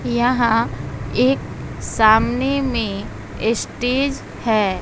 यहां एक सामने में स्टेज है।